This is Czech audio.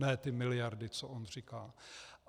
Ne ty miliardy, co on říká.